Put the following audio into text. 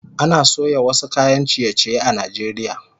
Ana soya wasu kayan ciye-ciye a Najeriya